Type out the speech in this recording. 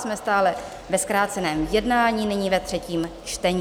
Jsme stále ve zkráceném jednání, nyní ve třetím čtení.